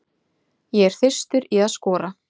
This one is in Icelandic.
Ég er þyrstur í að skora.